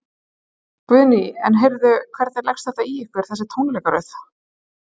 Guðný: En heyrðu, hvernig leggst þetta í ykkar þessi tónleikaröð?